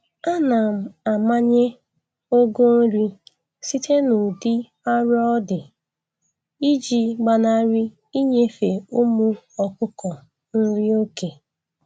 Ana m amanye ogo nri site n'udị arọ ọ dị iji gbanarị inyefe ụmụ ọkụkọ nri oke